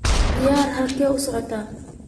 Adeer xagee u socdaa?